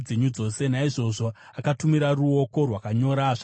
Naizvozvo akatumira ruoko rwakanyora zvakanyorwa.